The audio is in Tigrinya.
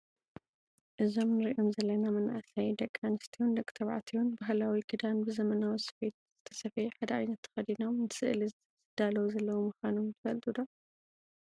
እዞም እንርኦም ዘለና መናእሰይ ደቂ ኣንስትዮን ደቂ ተባዕትዮን ባህላዊ ክዳን ብዘመናዊ ስፌት ዝተሰፈየ ሓደ ዓይነት ተከዲኖም ንስእሊ ዝዳለው ዘለው ምኳኖም ትፈልጡ ዶ ?